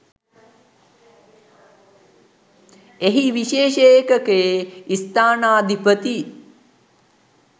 එහි විශේෂ ඒකකයේ ස්ථානාධිපති